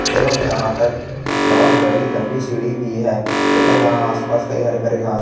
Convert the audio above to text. एवं यहां पर बहुत बड़ी लंबी सीढ़ी भी है तथा यहां आस पास कई हरे भरे घास--